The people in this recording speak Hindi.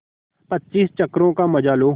पच्चीस चक्करों का मजा लो